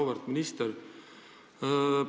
Auväärt minister!